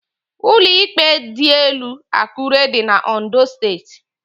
Ụlọ íkpè dịelu Akure dị n' Ondo Steeti.